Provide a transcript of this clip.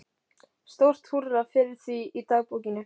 Stórt húrra fyrir því í dagbókinni.